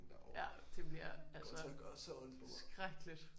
Ja det bliver altså skrækkeligt